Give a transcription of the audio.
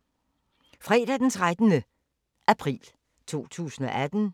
Fredag d. 13. april 2018